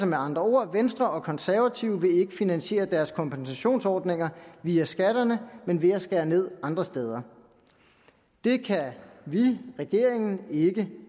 med andre ord venstre og konservative vil ikke finansiere deres kompensationsordninger via skatterne men ved at skære ned andre steder det kan vi regeringen ikke